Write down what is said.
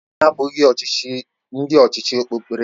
Anyị abụghị ndị ọchịchị okpukperechi.